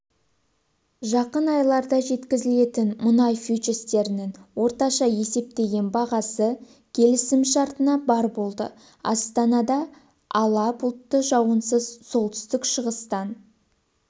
жақын айларда жеткізілетін мұнай фьючерстерінің орташа есептеген бағасы келісімшартына бар болды астанада ала бұлтты жауынсыз солтүстік-шығыстан